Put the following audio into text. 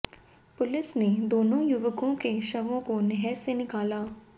police ने दोनों युवकों के शवों को नहर से निकाला